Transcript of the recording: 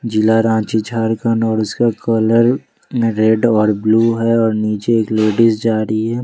जिला रांची झारखंड और उसका कलर में रेड और ब्लू है और नीचे एक लेडिस जा रही है।